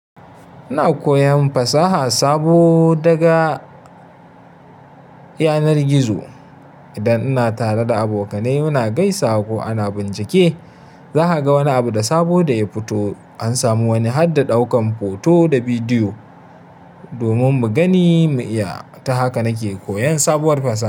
Ina koyan fasaha sabo daga yanar gizo. Idan ina tare da abokanai ina gaisawa ko ana bincike, zaka ga wani abu da sabo da ya fito. An samu wani har da ƙaukan hoto da bidiyo domin mu gani mu iya. Ta haka nake koyan sabuwar fasaha.